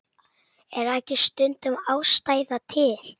Er ekki stundum ástæða til?